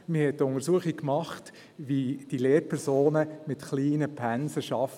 Man hat eine Untersuchung gemacht, wie Lehrpersonen mit kleinen Pensen arbeiten.